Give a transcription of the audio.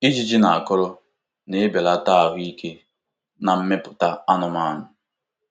Ijiji na akọrọ na-ebelata ahụ ike na mmepụta anụmanụ.